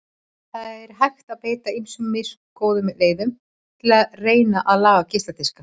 Það er hægt að beita ýmsum misgóðum leiðum til að reyna að laga geisladiska.